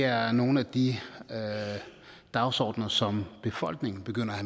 er nogle af de dagsordener som befolkningen begynder at